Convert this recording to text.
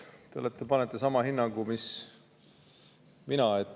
No vot, te annate sama hinnangu mis mina.